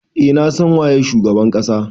Eh na san waye shugaban kasa.